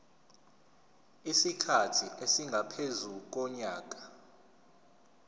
isikhathi esingaphezu konyaka